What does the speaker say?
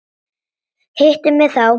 Hittu mig þá.